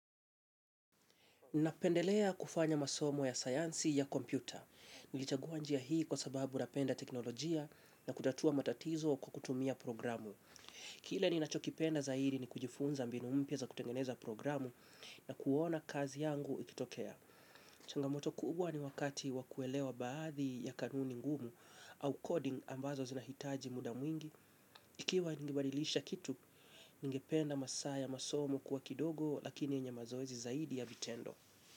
Napendelea kufanya masomo ya sayansi ya kompyuta. Nilichagua njia hii kwa sababu napenda teknolojia na kutatua matatizo kwa kutumia programu. Kile ninachokipenda zaidi ni kujifunza mbinu mpya za kutengeneza programu na kuona kazi yangu ikitokea. Changamoto kubwa ni wakati wa kuelewa baadhi ya kanuni ngumu au coding ambazo zinahitaji muda mwingi. Ikiwa ningebadilisha kitu, ningependa masaa ya masomo kuwa kidogo lakini yenye mazoezi zaidi ya vitendo.